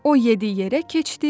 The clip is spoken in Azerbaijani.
O yedi yerə keçdi.